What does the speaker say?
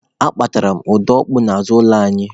Akpatara m ọda opuo n'azụ ụlọ anyị.